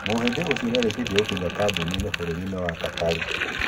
Muhĩndi ũcio niarĩkĩtie gũkinya kambĩinĩ burũrinĩ wa Katari.